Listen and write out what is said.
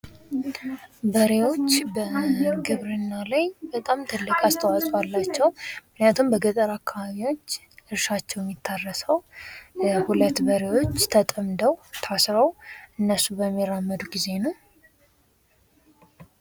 በሬዎች ግብርና ላይ በጣም ትልቅ አስተዋጾ አላችው ምክንያቱም በገጠር አካባቢ እርሻ የሚካሄደው ሁለት በሬዎች ታረሰው ተጠምደው እነሱ በሚራመዱ ጊዜ ነው፡፡